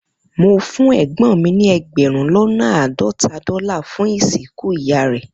Mo fun egbon mi ni egberun lona aadota dola fun isinku Iya re